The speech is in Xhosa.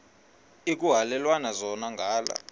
ekuhhalelwana zona ngala